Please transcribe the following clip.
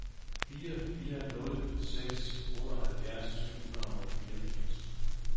fire fire nul seks otteoghalvfjerds syv hundrede og fireogfirs